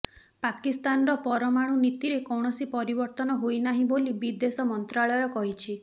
ପାକିସ୍ତାନର ପରମାଣୁ ନୀତିରେ କୌଣସି ପରିବର୍ତ୍ତନ ହୋଇନାହିଁ ବୋଲି ବିଦେଶ ମନ୍ତ୍ରାଳୟ କହିଛି